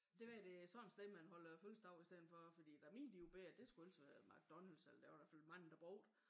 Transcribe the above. Det være det sådan et sted man holder fødselsdag i stedet for fordi da mine de var bette det skulle ellers være McDonald's eller det var da i hvert fald mange der brugte